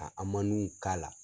A amanu k'ala